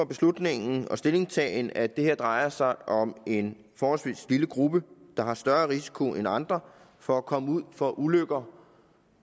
beslutning og stillingtagen at det her drejer sig om en forholdsvis lille gruppe der har større risiko end andre for at komme ud for ulykker